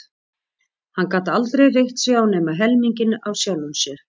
Hann gat aldrei reitt sig á nema helminginn af sjálfum sér.